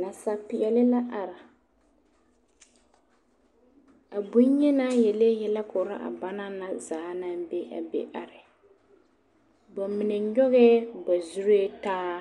Nasapeɛle la are a bonyenaa yelee yɛlɛ korɔ a ba na zaa naŋ be a be are ba mine nyɔgɛ ba zuree taa